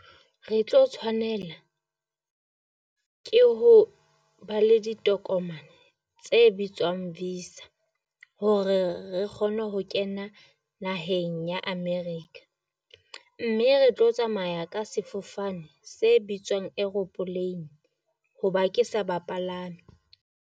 Re tlo tshwanela ke ho ba le ditokomane tse bitswang visa hore re kgone ho kena naheng ya America, mme re tlo tsamaya ka sefofane se bitswang aeroplane hoba ke sa bapalami.